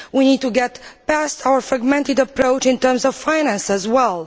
We need to get past our fragmented approach in terms of finance as well.